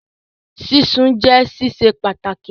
Sísun jẹ́ sísè pàtàkì